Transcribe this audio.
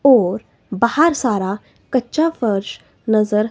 और बाहर सारा कच्चा फर्श नजर--